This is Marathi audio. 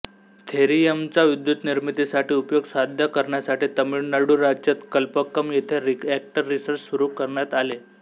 थोरियमचा विद्युतनिर्मितीसाठी उपयोग साध्य करण्यासाठी तामिळनाडू राज्यात कल्पकम येथे रियाक्टर रिसर्च सेंटर सुरू करण्यात आले